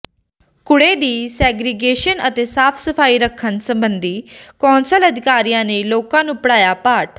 ਕੂੜੇ ਦੀ ਸੈਗਰੀਗੇਸ਼ਨ ਅਤੇ ਸਾਫ਼ ਸਫ਼ਾਈ ਰੱਖਣ ਸਬੰਧੀ ਕੌਂਸਲ ਅਧਿਕਾਰੀਆਂ ਨੇ ਲੋਕਾਂ ਨੂੰ ਪੜ੍ਹਾਇਆ ਪਾਠ